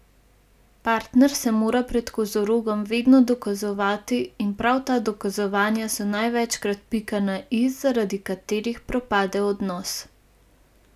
Partner se mora pred kozorogom vedno dokazovati in prav ta dokazovanja so največkrat pika na i, zaradi katerih propade odnos.